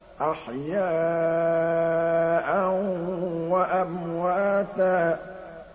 أَحْيَاءً وَأَمْوَاتًا